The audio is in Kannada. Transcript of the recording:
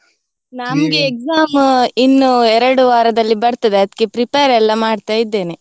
ನಮ್ಗೆ exam ಇನ್ನು ಎರಡು ವಾರದಲ್ಲಿ ಬರ್ತದೆ ಅದಕ್ಕೆ prepare ಎಲ್ಲಾ ಮಾಡ್ತಾ ಇದ್ದೇನೆ.